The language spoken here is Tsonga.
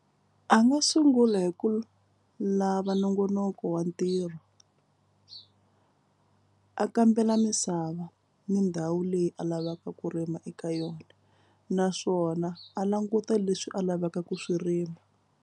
A nga sungula hi ku lava nongonoko wa ntirho. A kambela misava ni ndhawu leyi a lavaka ku rima eka yona naswona a languta leswi a lavaka ku swi rima.